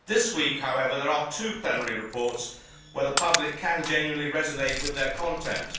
This week, however, there are two plenary reports where the public can genuinely resonate with their content.